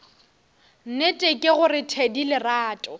nnete ke gore thedi lerato